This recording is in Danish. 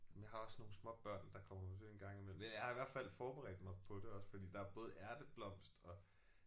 Men jeg har også nogle småbørn der kommer på besøg en gang imellem men jeg har i hvert fald forberedt mig på det også fordi der er både ærteblomst og